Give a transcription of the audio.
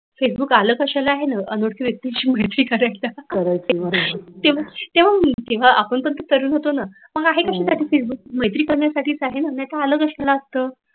Facebook आल कशाला आहे न अनोळखी व्यक्तींशी मैत्री करायला तेव्हा मी तेव्हा आपण पण तरुण होतो न मग आहे कशासाठी फेसबुक मैत्री करण्यासाठीच आहे न नाहीतर आलं कशाला असतं